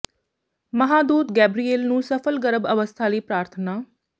ਮਹਾਂ ਦੂਤ ਗੈਬਰੀਏਲ ਨੂੰ ਸਫਲ ਗਰਭ ਅਵਸਥਾ ਲਈ ਪ੍ਰਾਰਥਨਾ